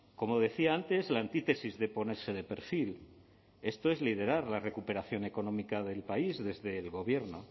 como decía antes la antítesis de ponerse de perfil esto es liderar la recuperación económica del país desde el gobierno